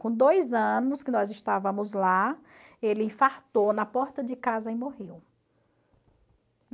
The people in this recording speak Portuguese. Com dois anos que nós estávamos lá, ele infartou na porta de casa e morreu.